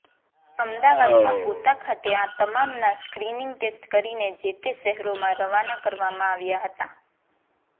અમદાવાદમાં ગોતા ખાતે આ તમામના સ્ક્રીનિંગ ટેસ્ટ કરીને જે તે શહેરોમાં રવાના કરવામાં આવ્યા હતા